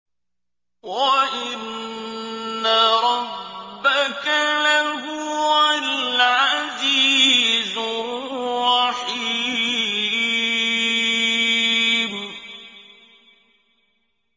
وَإِنَّ رَبَّكَ لَهُوَ الْعَزِيزُ الرَّحِيمُ